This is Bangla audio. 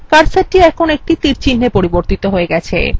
কার্সারটির এখন তীরচিহ্নa পরিবর্তিত হয়ে গেছে